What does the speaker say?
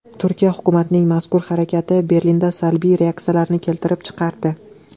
Turkiya hukumatining mazkur harakati Berlinda salbiy reaksiyalarni keltirib chiqardi.